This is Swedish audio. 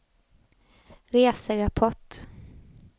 reserapport